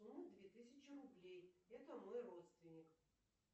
две тысячи рублей это мой родственник